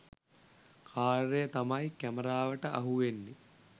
කාර්යය තමයි කැමරාවට අහුවෙන්නේ.